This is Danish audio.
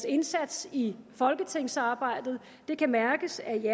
indsats i folketingsarbejdet det kan mærkes at de